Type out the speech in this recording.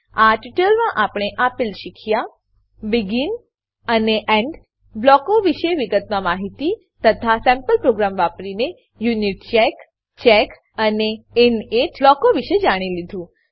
આ ટ્યુટોરીયલમાં આપણે આપેલ શીખ્યા બેગિન અને એન્ડ બ્લોકો વિશે વિગતવાર માહીતી તથા સેમ્પલ પ્રોગ્રામ વાપરીને યુનિચેક ચેક અને ઇનિટ બ્લોકો વિશે જાણી લીધું